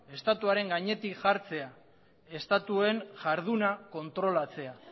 estatuaren gainetik jartzea estatuen jarduna kontrolatzea